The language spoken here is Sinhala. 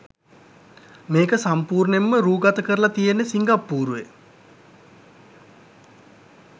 මේක සම්පුර්ණයෙන්ම රෑගත කරල තියෙන්නෙ සිංග්පුරුවේ.